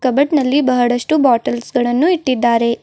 Cupboard ನಲ್ಲಿ ಬಹಳಷ್ಟು bottles ಗಳನ್ನು ಇಟ್ಟಿದ್ದಾರೆ.